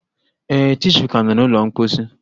Ee, tishuu ka nọ n'ụlọ mposi